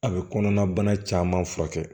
A bɛ kɔnɔna bana caman furakɛ